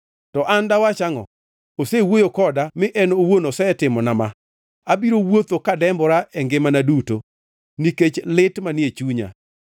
To an dawach angʼo? Osewuoyo koda mi en owuon osetimona ma, abiro wuotho kadembora e ngimana duto nikech lit manie chunya.